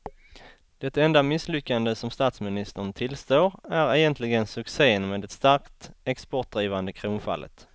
Det enda misslyckande som statsministern tillstår är egentligen succén med det starkt exportdrivande kronfallet.